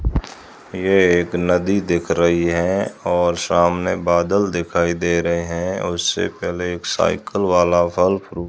ये एक नदी दिख रही है और सामने बादल दिखाई दे रहे हैं और उससे पहले एक साइकल वाला फल-फ्रूट --